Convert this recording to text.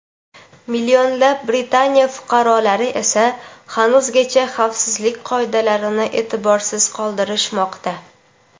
Millionlab Britaniya fuqarolari esa hanuzgacha xavfsizlik qoidalarini e’tiborsiz qoldirishmoqda.